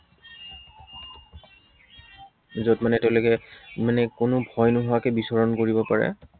যত মানে তেওঁলোকে, মানে কোনো ভয় নোহোৱাকে বিচৰণ কৰিব পাৰে।